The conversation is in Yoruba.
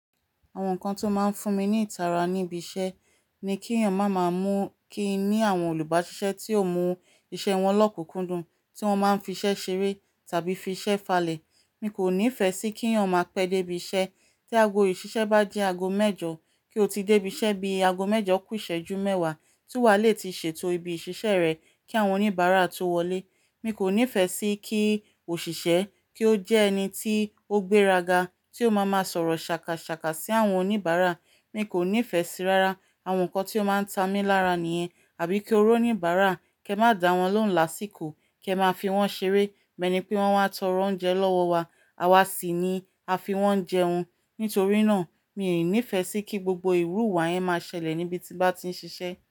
Àwọn nǹkan tó máa n fún mi ní ìtara níbi iṣẹ́ ni kí ènìyàn máa máa mú kí i ní àwọn olùbáṣiṣẹ́ tí ó mú iṣẹ́ wọn lọ́kùnkúndùn, tí wọ́n máa ń fi iṣẹ́ ṣeré tàbí fi iṣẹ́ falẹ̀. Mi kò nífẹ̀ẹ́ sí kí èèyàn máa pẹ́ dé ibi iṣẹ́. Tí ago ìṣiṣẹ́ bá jẹ́ aagomẹ́jọ kí o ti dé ibi iṣẹ́ bí i ago mẹ́jọ kù ìṣẹ́jú mẹ́wàá, tí wà á le ti ṣètò ibi ìṣiṣẹ́ rẹ kí àwọn oníbàárà tó wọlé. Mi kò nífẹ̀ẹ́ sí kí òṣìṣẹ́ kí ó jẹ́ ẹni tí ó gbéraga, tí ó máa máa sọ̀rọ̀ ṣàkàṣàkà sí àwọn oníbàárà. Mi kò nífẹ̀ẹ́ sí, rárá, àwọn nǹkan tí ó máa ń ta mí lára nìyẹn. Àbí kí ó rọ́ oníbàárà, kí ẹ má dá wọn lóhùn lásìkò, kí ẹ máà fi wọ́n ṣeré, bí ẹni pé wọ́n wá tọrọ oúnjẹ lọ́wọ́ wa, àwa sì ni a fi wọ́n jẹun. Nítorí náà, mi nífẹ̀ẹ́ sí kí gbogbo ìrú ìwà yẹn máa ṣẹlẹ̀ níbi tí ń bá ti ń ṣiṣẹ́.